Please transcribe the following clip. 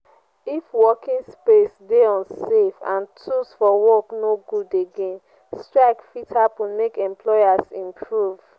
if working space de unsafe and tools for work no good again strike fit happen make employers improve